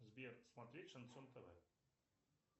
сбер смотреть шансон тв